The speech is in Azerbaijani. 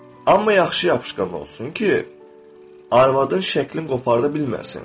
Amma yaxşı yapışqan olsun ki, arvadın şəkli qoparda bilməsin.